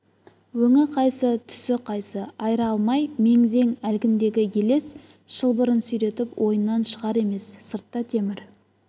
өңі қайсы түсі қайсы айыра алмай мең-зең әлгіндегі елес шылбырын сүйретіп ойынан шығар емес сыртта темір